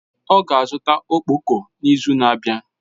Ọ ga-azụta ọkpọkọ n'izu na-abịa.